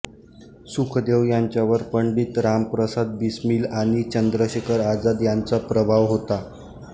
सुखदेव यांच्यावर पंडित राम प्रसाद बिस्मील आणि चंद्रशेखर आझाद यांचा प्रभाव होता